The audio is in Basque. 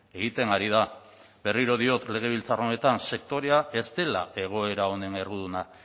egiten ari da berriro diot legebiltzar honetan sektorea ez dela egoera honen erruduna